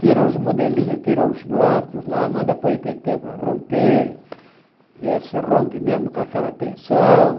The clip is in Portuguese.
Tira os modelinhos, tira os blocos lá, manda para o í pê tê para romper, ver se rompe mesmo com aquela tensão.